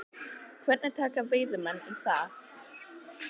Hvernig taka veiðimenn í það?